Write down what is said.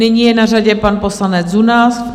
Nyní je na řadě pan poslanec Zuna.